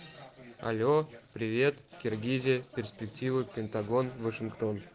алло привет киргизия перспективы пентагон вашингтон